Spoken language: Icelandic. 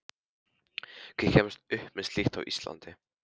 Hver kemst upp með slíkt á Íslandi?